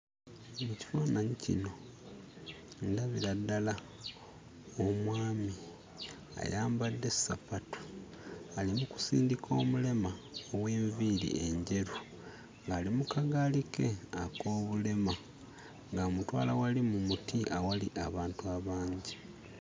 Mu kifaananyi kino ndabira ddala omwami ayambadde ssapatu ali mu kusindika omulema ow'enviiri enjeru ng'ali mu kagaali ke ak'obulema ng'amutwala wali mu muti awali abantu abangi.